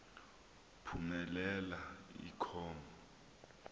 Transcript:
phumelela i com